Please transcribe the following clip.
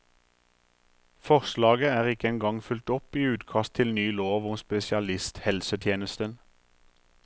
Forslaget er ikke engang fulgt opp i utkast til ny lov om spesialisthelsetjenesten.